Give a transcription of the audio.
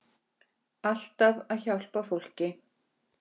En þú segir ekkert.